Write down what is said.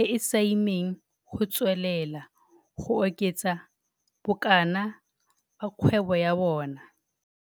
e e saimeng go tswelela go oketsa bokana ba kgwebo ya bona.